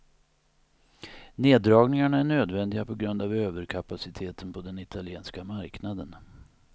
Neddragningarna är nödvändiga på grund av överkapaciteten på den italienska marknaden.